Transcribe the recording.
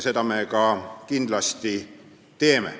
Seda me kindlasti ka teeme.